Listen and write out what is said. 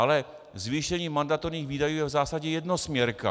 Ale zvýšení mandatorních výdajů je v zásadě jednosměrka.